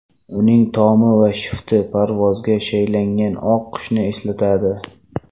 Uning tomi va shifti parvozga shaylangan oq qushni eslatadi.